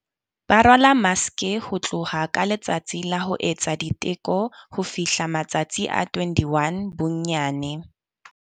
Ba rwala maske, ho tloha ka letsatsi la ho etsa diteko ho fihla matsatsi a 21 bonyane.